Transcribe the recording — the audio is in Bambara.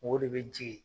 O de bɛ jigin